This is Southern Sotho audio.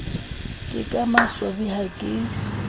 ke ka maswabi ha ke